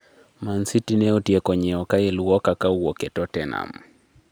Man City ne otieko nyiewo Kyle Walker ka owuok e Tottenham